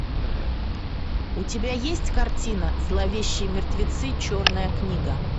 у тебя есть картина зловещие мертвецы черная книга